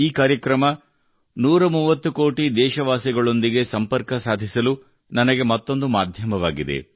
ಈ ಕಾರ್ಯಕ್ರಮವು 130 ಕೋಟಿ ದೇಶವಾಸಿಗಳೊಂದಿಗೆ ಸಂಪರ್ಕ ಸಾಧಿಸಲು ನನಗೆ ಮತ್ತೊಂದು ಮಾಧ್ಯಮವಾಗಿದೆ